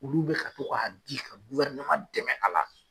Olu bɛ ka to k'a di ka dɛmɛ a la.